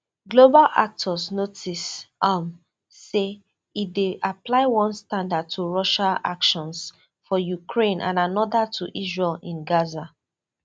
global actors notice um say e dey apply one standard to russia actions for ukraine and anoda to israel in gaza